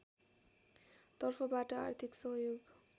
तर्फबाट आर्थिक सहयोग